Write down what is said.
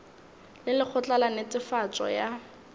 le lekgotla la netefatšo ya